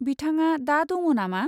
बिथाङा दा दङ नामा?